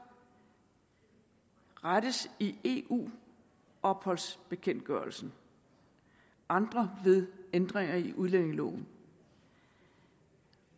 rettes i eu opholdsbekendtgørelsen andre ved ændringer i udlændingeloven